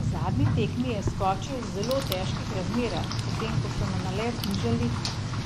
Na zadnji tekmi je skočil v zelo težkih razmerah, potem ko so nalet znižali